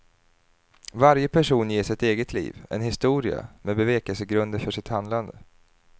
Varje person ges ett eget liv, en historia med bevekelsegrunder för sitt handlande.